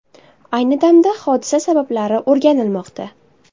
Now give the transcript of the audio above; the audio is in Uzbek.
Ayni damda hodisa sabablari o‘rganilmoqda.